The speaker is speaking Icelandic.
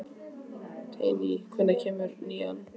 Teitný, hvenær kemur nían?